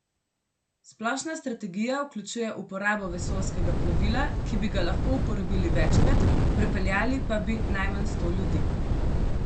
Splošna strategija vključuje uporabo vesoljskega plovila, ki bi ga lahko uporabili večkrat, prepeljali pa bi najmanj sto ljudi.